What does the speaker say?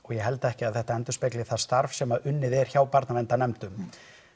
ég held ekki að þetta endurspegli það starf sem unnið er hjá barnaverndarnefndum